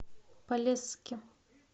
полесске